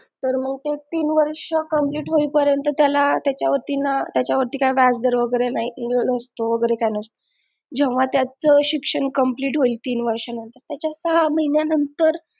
तर मंग ते तीन वर्ष complete होई परेंत त्याला त्याच्या वरती ना काही वीजदर वगैरे काही नसतो जेंव्हा त्याच शिक्षण complete होईल तीन वर्ष नंतर त्याच्या सहा महिन्या नंतर